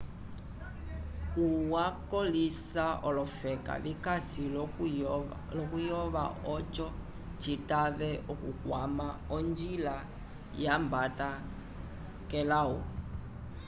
hu wakolĩsa olofeka vikasi l'okuyova oco citave okukwama onjila yambata k'elawu